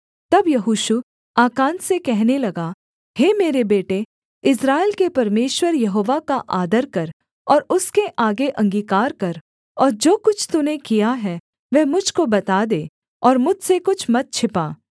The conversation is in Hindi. तब यहोशू आकान से कहने लगा हे मेरे बेटे इस्राएल के परमेश्वर यहोवा का आदर कर और उसके आगे अंगीकार कर और जो कुछ तूने किया है वह मुझ को बता दे और मुझसे कुछ मत छिपा